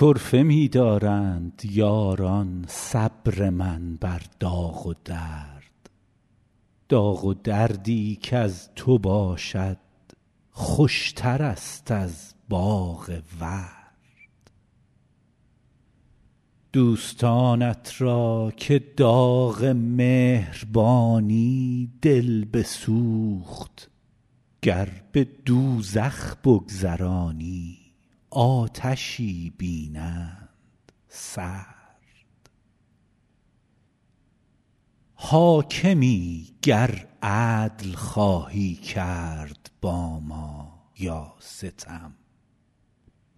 طرفه می دارند یاران صبر من بر داغ و درد داغ و دردی کز تو باشد خوشترست از باغ ورد دوستانت را که داغ مهربانی دل بسوخت گر به دوزخ بگذرانی آتشی بینند سرد حاکمی گر عدل خواهی کرد با ما یا ستم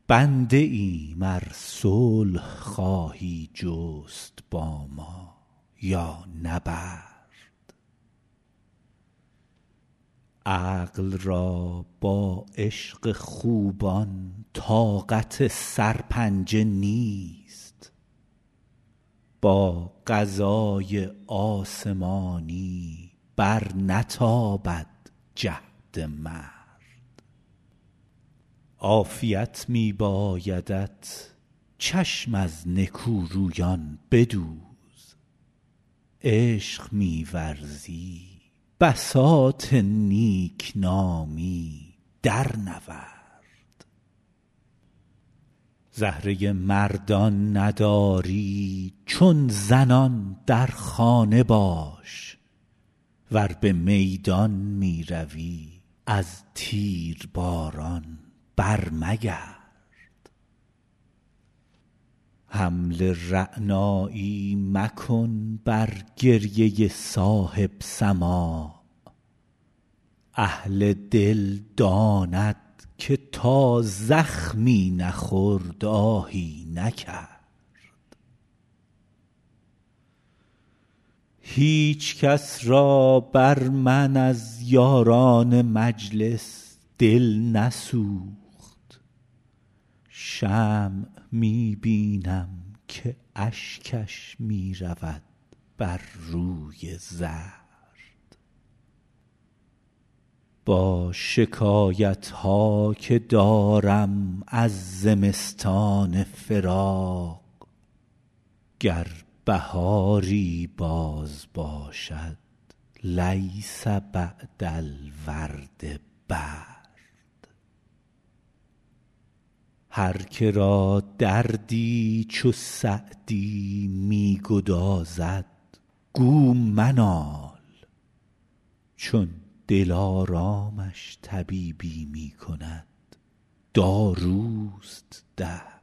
بنده ایم ار صلح خواهی جست با ما یا نبرد عقل را با عشق خوبان طاقت سرپنجه نیست با قضای آسمانی برنتابد جهد مرد عافیت می بایدت چشم از نکورویان بدوز عشق می ورزی بساط نیک نامی درنورد زهره مردان نداری چون زنان در خانه باش ور به میدان می روی از تیرباران برمگرد حمل رعنایی مکن بر گریه صاحب سماع اهل دل داند که تا زخمی نخورد آهی نکرد هیچ کس را بر من از یاران مجلس دل نسوخت شمع می بینم که اشکش می رود بر روی زرد با شکایت ها که دارم از زمستان فراق گر بهاری باز باشد لیس بعد الورد برد هر که را دردی چو سعدی می گدازد گو منال چون دلارامش طبیبی می کند داروست درد